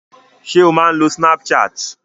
Ṣé ò ń lo snapchat?